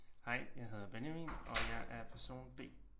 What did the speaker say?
Hej jeg hedder Benjamin og jeg er person B